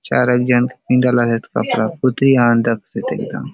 चार एक झन के पिंधालासोत कपड़ा पुतली असन दखसोत एकदम --।